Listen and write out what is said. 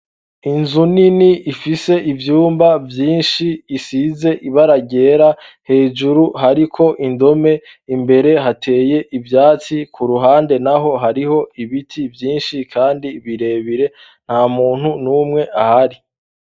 Inzu nini ifise ivyumba vyinshi, isize ibara ryera, hejuru hariko indome, imbere hateye ivyatsi, ku ruhande naho hariho ibiti vyinshi kandi birebire nta muntu n'umwe ahari.